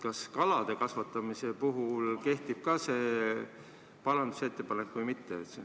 Kas kalade kasvatamise puhul kehtib ka see parandusettepanek või mitte?